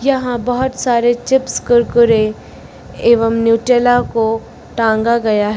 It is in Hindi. यहां बहोत सारे चिप्स कुरकुरे एवं न्यूटेला को टांगा गया है।